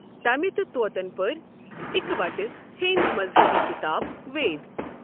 تمہِ تہٕ طوطن پٔر اِکہٕ وٹَہ ہیٚنٛدۍ مذہبی کِتاب، وید ۔